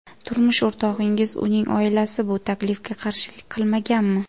Turmush o‘rtog‘ingiz, uning oilasi bu taklifga qarshilik qilmaganmi?